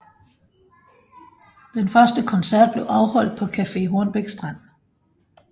Den første koncert blev afholdt på Café Hornbæk Strand